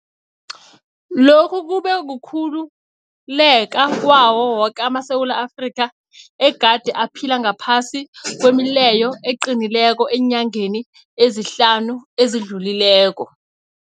Lokhu kube kukhululeka kwawo woke amaSewula Afrika egade aphila ngaphasi kwemileyo eqinileko eenyangeni ezihlanu ezidlulileko.